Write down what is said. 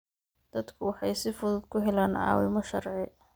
Dadku waxay si fudud ku helaan caawimo sharci.